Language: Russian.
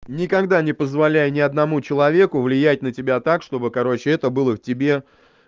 никогда не позволяй ни одному человеку влиять на тебя так чтобы короче это было в тебе